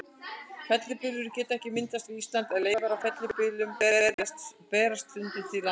Fellibyljir geta ekki myndast við Ísland, en leifar af fellibyljum berast stundum til landsins.